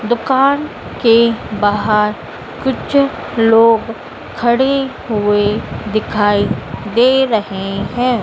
दुकान के बाहर कुछ लोग खडे हुए दिखाई दे रहें हैं।